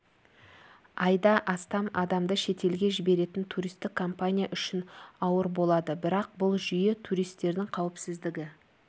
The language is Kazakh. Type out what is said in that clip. айда астам адамды шетелге жіберетін туристік компания үшін ауыр болады бірақ бұл жүйе туристердің қауіпсіздігі